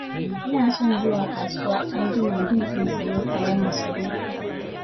Ina son zuwa kasuwa an jima don in sayo kayan masarufi